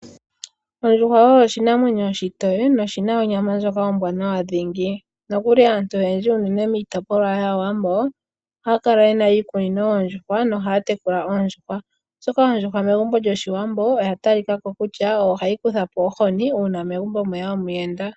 Ondjuhwa oshinanwenyo oshitoye noshina onyama ombwaanawa dhingi. Aantu oyendji unene miitopolwa yaawambo ohaya kala yena iikunino yoondjuhwa nohata tekula oondjuhwa oshoka oondjuhwa megumbo lyoshiwambo oya talikako kutya ohayi kutha po ohini uuna omuntu eya megumbo.